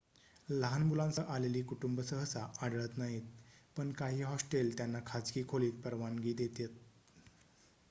लहान मुलांसह आलेली कुटुंब सहसा आढळत नाहीत पण काही हॉस्टेल त्यांना खाजगी खोलीत परवानगी देतात